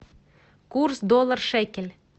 курс доллар шекель